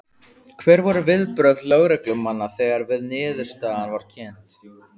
Hver voru viðbrögð lögreglumanna þegar að niðurstaðan var kynnt?